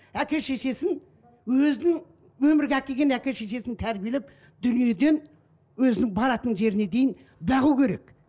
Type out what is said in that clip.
әке шешесін өзін өмірге әкелген әке шешесін тәрбиелеп дүниеден өзінің баратын жеріне дейін бағу керек